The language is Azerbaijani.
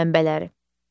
Enerji mənbələri.